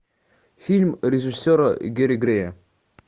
фильм режиссера гэри грея